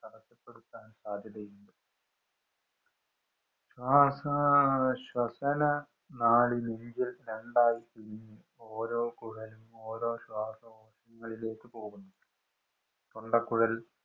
തടസ്സപ്പെടുത്താൻ സാധ്യതയുണ്ട്. ആഹാ ശ്വസനനാളി നെഞ്ചില്‍ രണ്ടായി പിരിഞ്ഞ് ഓരോ കുഴലും ഓരോ ശ്വാസകോശങ്ങളിലേക്ക് പോകുന്നു. തൊണ്ടക്കുഴല്‍